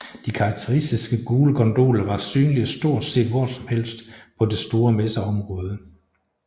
De karakteristiske gule gondoler var synlige stort set hvor som helst på det store messeområde